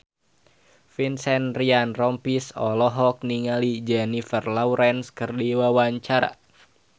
Vincent Ryan Rompies olohok ningali Jennifer Lawrence keur diwawancara